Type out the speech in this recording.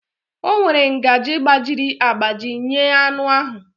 O were ngaji gbajiri agbaji nyee anụ ahụ